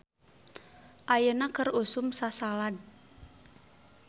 "Ayeuna keur usum sasalad "